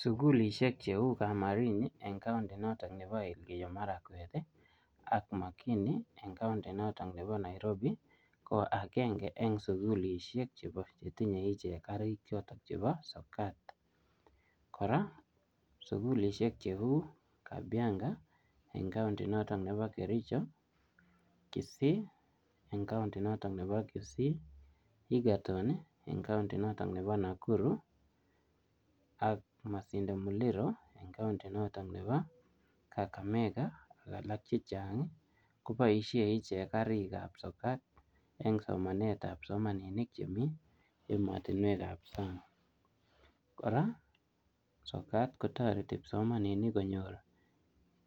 Sugulishiek cheu Kamarin en county inoton nebo Elgeiyo marakwet i ak Makini en county inoton nebo Nairobi ko agenge en sugulisiek chetinye ichek karik chebo sokat, kora sugulisiek cheu Kabianga en county inoton nebo Kericho, Kisii, en county inoton nebo Kisii, Ergeton ii en county inoton nebo Nakuru ak Masinde muliro en county inoton nebo Kakamega ak alak koboisien ichek karik ab sokat en somanet ab psomaninik chemi emotinwek ab sang',kora sokat kotoreti psomaninik konyor